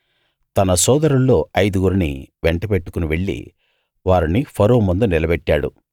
తన సోదరుల్లో ఐదు గురిని వెంటబెట్టుకుని వెళ్లి వారిని ఫరో ముందు నిలబెట్టాడు